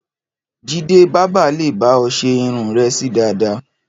Jídé bábà lè bá ọ ṣe irun rẹ sí dàda